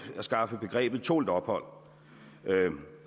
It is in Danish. at afskaffe begrebet tålt ophold